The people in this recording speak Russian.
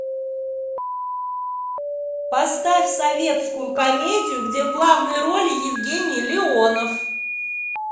поставь советскую комедию где в главной роли евгений леонов